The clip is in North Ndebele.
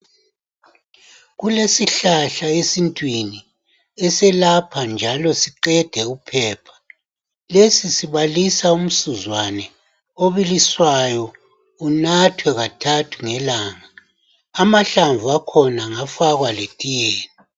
Kulesihlahla esintwini eselapha njalo siqede uphepha. Lesi sibalisa umsuzwane oibiliswayo unathe kathathe kathathu ngelanga. Amahlamu akhona angafakwa letiyeni